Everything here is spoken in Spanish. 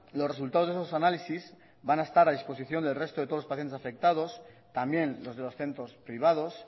los resultados de esos análisis van a estar a disposición del resto de todos los pacientes afectados también los de los centros privados